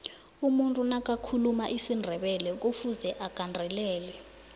umuntu nakathuluma isindebelekufuze agandelele